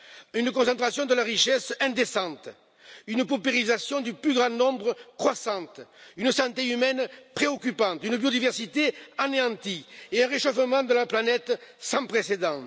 Une concentration de la richesse indécente, une paupérisation croissante du plus grand nombre, une santé humaine préoccupante, une biodiversité anéantie et un réchauffement de la planète sans précédent.